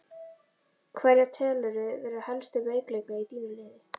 Hverja telurðu vera helstu veikleika í þínu liði?